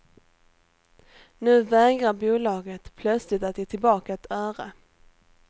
Nu vägrar bolaget plötsligt att ge tillbaka ett öre.